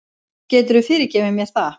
Geturðu fyrirgefið mér það?